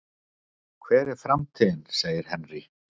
Hver er framtíðin? segir Henry.